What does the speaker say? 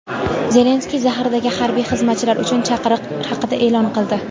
Zelenskiy zaxiradagi harbiy xizmatchilar uchun chaqiriq haqida e’lon qildi.